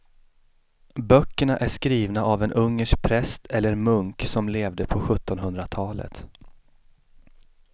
Böckerna är skrivna av en ungersk präst eller munk som levde på sjuttonhundratalet.